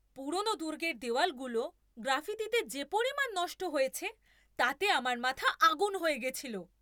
পুরনো দুর্গের দেয়ালগুলো গ্রাফিতিতে যে পরিমাণ নষ্ট হয়েছে তাতে আমার মাথা আগুন হয়ে গেছিল।